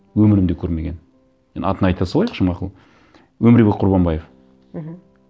өмірімде көрмеген енді атын айта салайықшы мақұл өмірбек құрбанбаев мхм